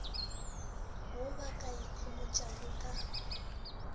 wo ba ka ikhomotšago ka